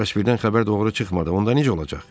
Bəs birdən xəbər doğru çıxmadı, onda necə olacaq?